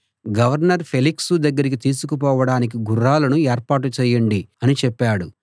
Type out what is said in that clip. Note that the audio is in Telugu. గవర్నర్ ఫేలిక్సు దగ్గరికి తీసుకుపోవడానికి గుర్రాలను ఏర్పాటు చేయండి అని చెప్పాడు